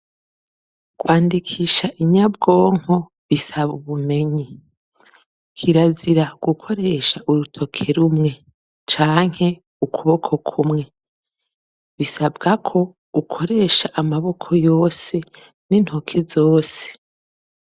Kwandikisha Inyabwonko bisaba ubumenyi. Kirazira gukoresha urutoke rumwe canke ukuboko kumwe. Bisabwa ko ukoresha amaboko yose n'intoke zose.